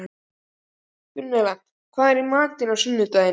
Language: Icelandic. Gunnella, hvað er í matinn á sunnudaginn?